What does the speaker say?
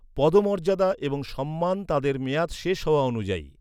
পদমর্যাদা এবং সম্মান তাদের মেয়াদ শেষ হওয়া অনুযায়ী।